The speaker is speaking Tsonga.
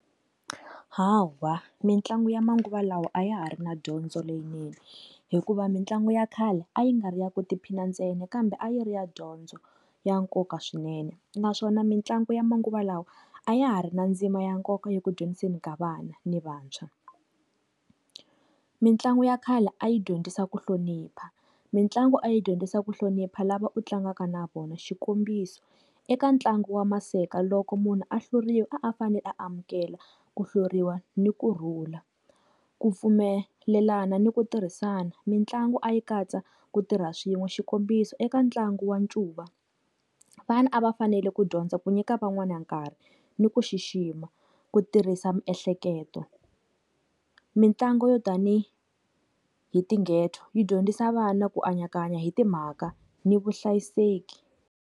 Hawa mitlangu ya manguva lawa a ya ha ri na dyondzo leyinene hikuva mitlangu ya khale a yi nga ri yaku tiphina endzeni kambe a yi ri ya dyondzo ya nkoka swinene naswona mitlangu ya manguva lawa a ya ha ri na ndzima ya nkoka ya ku dyondzisiweni ka vana ni vantshwa. Mintlangu ya khale a yi dyondzisa ku hlonipha mitlangu a yi dyondzisa ku hlonipha lava u tlangaka na vona xikombiso eka ntlangu wa maseka loko munhu a hluriwa a fanele amukela ku hluriwa ni kurhula ku pfumelelana ni ku tirhisana mitlangu a yi katsa ku tirha swin'we xikombiso eka ntlangu wa ncuva vanhu a va fanele ku dyondza ku nyika van'wana nkarhi ni ku xixima. Ku tirhisa miehleketo mitlangu yo tanihi hi tinghedzo yi dyondzisa vana ku anakanya hi timhaka ni vuhlayiseki.